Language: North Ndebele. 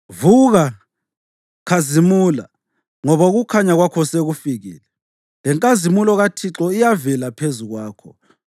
“Vuka, khazimula, ngoba ukukhanya kwakho sekufikile, lenkazimulo kaThixo iyavela phezu kwakho.